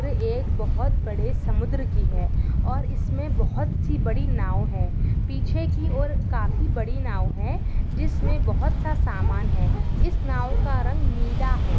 ये एक बहुत बड़े समुद्र की है और इसमें बहुत सी बड़ी नाव है पीछे की और काफी बड़ी नाव है जिसमे बहुतसा सामना है ईस नाव का रंग नीला है।